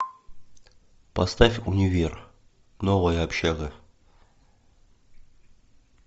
поставь универ новая общага